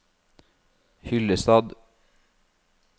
Hyllestad